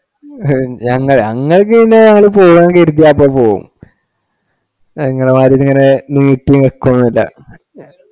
ഞങ്ങ ഞങ്ങക്ക് പിന്നെ ഞങ്ങള് പോകാൻ കര്ത്തിയ ഇപ്പൊ പോകും ഇങ്ങളേ മാതിരി ഇതിങ്ങനെ നീട്ടിവെക്കൊന്നുല്ല